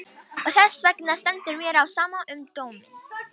Og þessvegna stendur mér á sama um dóminn.